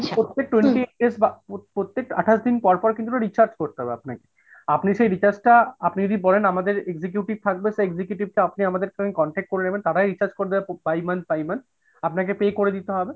প্রত্যেক twenty eight days বা প্রত্যেক আটাশ দিন পর পর কিন্তু recharge করতে হবে আপনাকে আপনি সেই recharge টা আপনি যদি বলেন আমাদের executive থাকবে সেই executive টা আপনি আমাদের সাথে contact করে নেবেন, তারাই recharge করবে । আপনাকে pay করে দিতে হবে।